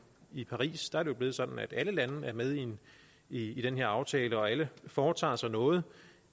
i paris er det jo blevet sådan at alle lande er med i i den her aftale og alle foretager sig noget